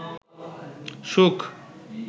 সুখ